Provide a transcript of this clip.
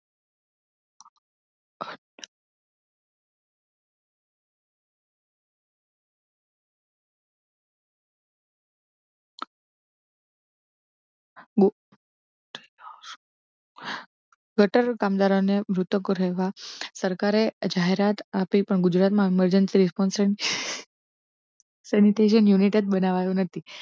waiter, કામદારો ને મૃતકો રહેવા સરકારે જાહેરાત આપી પણ ગુજરાતમાં self confidence sanitarian unit બનાવા યો નથી.